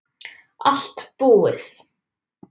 Allt búið